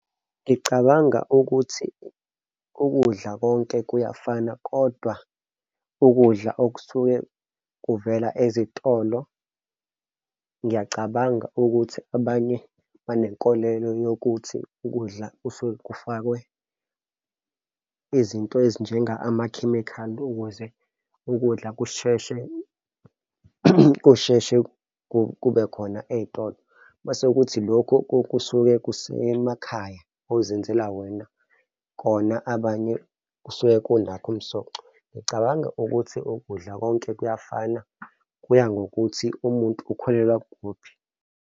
Ngicabanga ukuthi ukudla konke kuyafana, kodwa ukudla okusuke kuvela ezitolo ngiyacabanga ukuthi abanye banenkolelo yokuthi ukudla kusuke kufakwe izinto ezinjenga amakhemikhali ukuze ukudla kusheshe, kusheshe kube khona ey'tolo. Uma sekuthi lokho kusuke kusemakhaya ozenzela wena kona abanye kusuke kunakho umsoco. Ngicabanga ukuthi ukudla konke kuyafana kuya ngokuthi umuntu ukholelwa kukuphi.